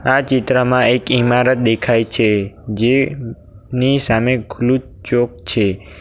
આ ચિત્રમાં એક ઈમારત દેખાય છે જેની સામે ખુલ્લુ ચોક છે.